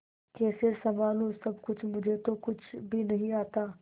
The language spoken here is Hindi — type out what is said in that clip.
कैसे संभालू सब कुछ मुझे तो कुछ भी नहीं आता